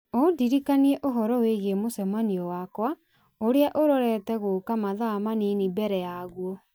ũndirikanie ũhoro wĩgiĩ mũcemanio wakwa ũrĩa ũrorete gũũka mathaa manini mbere yaguo